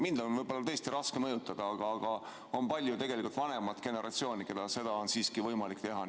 Mind on võib-olla tõesti raske mõjutada, aga tegelikult on palju vanemat generatsiooni, kellega seda on võimalik teha.